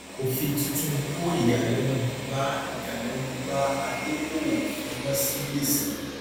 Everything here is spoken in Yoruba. òfin tuntun kó ìyàlénu bá ìyàlénu bá adókòwò fi wón sí gbèsè